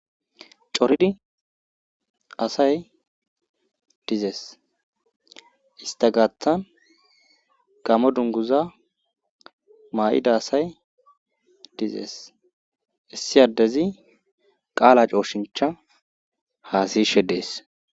coridi asay dizees ista gaaththan gamo dunguza maa7ida asay dizees issi addezi qaala cooshincha haasishe dees